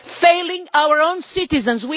failing our own citizens.